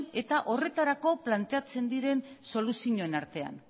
eta horretarako planteatzen diren soluzioen artean